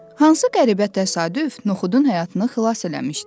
Hansı qəribə təsadüf Noxudun həyatını xilas eləmişdi?